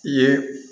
I ye